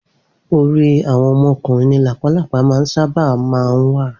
Orí àwọn ọmọ ọkùnrin ni làpálàpá máa ń sáábà máa wà